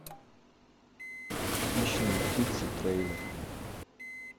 хищные птицы трейлер